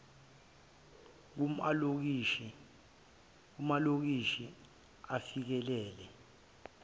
kum alokishi afikelele